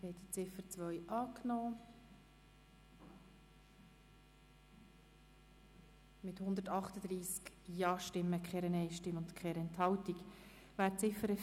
Sie haben die Ziffer 2 angenommen mit 138 Ja-, 0 Nein-Stimmen und 0 Enthaltungen.